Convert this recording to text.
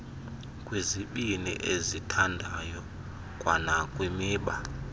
kwizibini ezithandayo kwanakwimiba